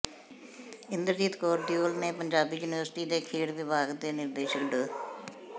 ਇੰਦਰਜੀਤ ਕੌਰ ਦਿਉਲ ਨੇ ਪੰਜਾਬੀ ਯੂਨੀਵਰਸਿਟੀ ਦੇ ਖੇਡ ਵਿਭਾਗ ਦੇ ਨਿਰਦੇਸ਼ਕ ਡਾ